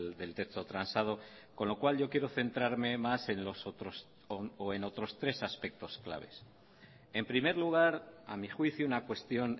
del texto transado con lo cual yo quiero centrarme más en otros tres aspectos claves en primer lugar a mi juicio una cuestión